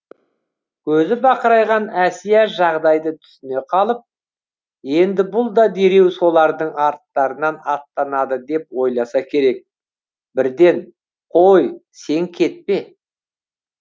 көзі бақырайған әсия жағдайды түсіне қалып енді бұл да дереу солардың арттарынан аттанады деп ойласа керек бірден қой сен кетпе